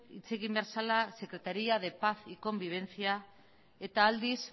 hitz egin behar zela secretaria de paz y convivencia eta aldiz